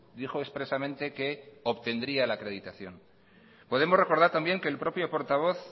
dijo expresamente que obtendría la acreditación podemos recordar también que el propio portavoz